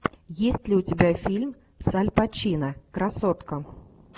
есть ли у тебя фильм с аль пачино красотка